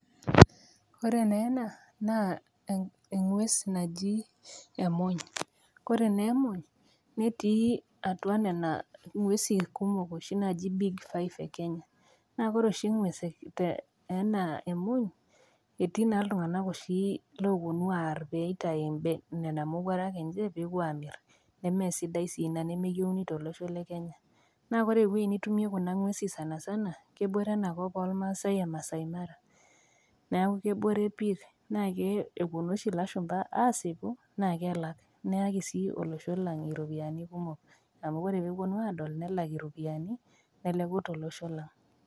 Ore naa ena naa eng'ues najii emuny. Ore naa emuny netii atua Nena ng'uesi naaji big five te Kenya. Naa ore oshi eng'ues anaa emuny, etii oshi iltung'ana oopuonu aar pee eitayu nena mowuarak enye pee ewuo amir, nemee sidai sii Ina nemeyeuni tolosho le Kenya naa ore ewueji nitumie Kuna ng'uesi sana sana naa kebore ena kop olmaasai e maasai mara, neaku kebore pii naeku kewuonu oshi ilashumba aasipu naa kelak, naa keaki sii olosho lang' iropiani kumok amu Kore pee ewuonu aadol nelak iropiani neleku tolosho lang'.